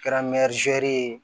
Kɛra ye